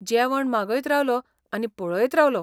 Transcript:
जेवण मागयत रावलों आनी पळयत रावलों.